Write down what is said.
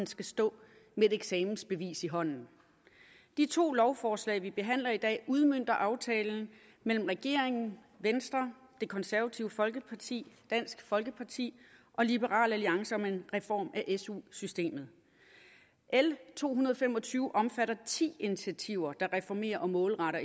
skal stå med et eksamensbevis i hånden de to lovforslag vi behandler i dag udmønter aftalen mellem regeringen venstre det konservative folkeparti dansk folkeparti og liberal alliance om en reform af su systemet l to hundrede og fem og tyve omfatter ti initiativer der reformerer og målretter